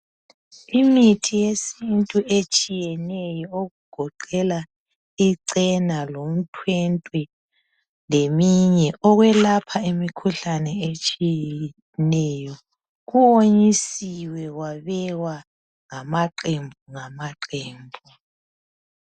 Imithi yesintu etshiyeneyo okugoqela icena lomithwentwe ,leminye .Okwelapha imikhuhlane etshiyeneyo, kuwonyisiwe kwabekwa ngamaqembu ngamaqembu.